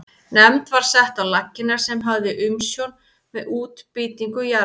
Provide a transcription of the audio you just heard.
Nefnd var sett á laggirnar sem hafði umsjón með útbýtingu jarða.